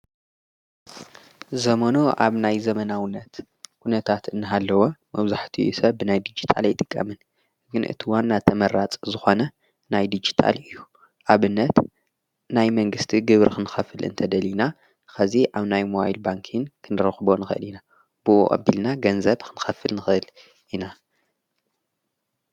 ዘመኑ ኣብ ናይ ዘመናውነት ኲነታት እንሃለወ መብዛሕቲኡ ሰብ ናይ ዲጅታል ኣይጥቀምን። ግን እቲ ዋና ተመራጽ ዝኾነ ናይ ዲጅታል እዩ። ኣብነት ናይ መንግሥቲ ግብር ኽንኸፍል እንተደሊና ኸዚ ኣብ ናይ ሞባይል ባንኪ ክንረኽቦ ንኸእል ኢና። ብእኡ ኣቢልና ገንዘብ ኽንኸፍል ንኽእል ኢና።